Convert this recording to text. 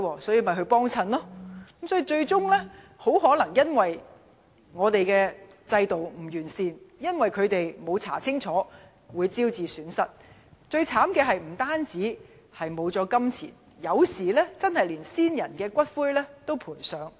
最終，可能由於制度的不完善，加上他們沒有調查清楚，便招致金錢損失，而最悽慘的是，有時候甚至連先人的骨灰也賠上。